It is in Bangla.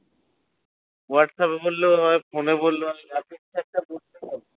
হোয়াটস আপ এ বললেও হয় ফোন বললেও হয়